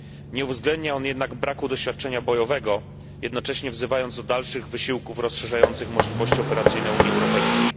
Nie uwzględnia on jednak braku doświadczenia bojowego, jednocześnie wzywając do dalszych wysiłków rozszerzających możliwości operacyjne Unii Europejskiej.